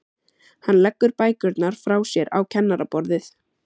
Hann leggur bækurnar frá sér á kennaraborðið.